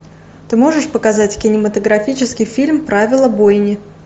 ты можешь показать кинематографический фильм правила бойни